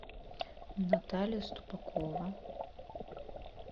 наталья ступакова